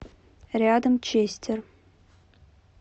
рядом честер